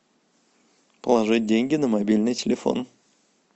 положить деньги на мобильный телефон